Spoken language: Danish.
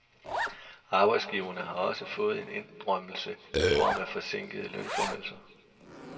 Arbejdsgiverne har også fået en indrømmelse i form af forsinkede lønforhøjelser.